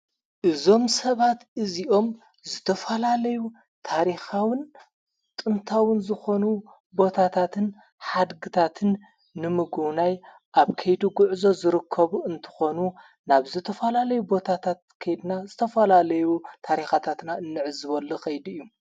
እዞም ሰባት እዚኦም ዝተፈላለዩ ታሪኻውን ጥንታውን ዝኾኑ ቦታታትን ሓድግታትን ንምግውናይ ኣብ ከይዱ ጕዕዞ ዝርከቡ እንተኾኑ ናብ ዝተፈላለዩ ቦታታት ከድና ዝተፈላለዩ ታሪኻታትና እንዕ ዝበለ ኸይዱ እዩ።